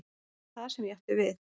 Það var það sem ég átti við.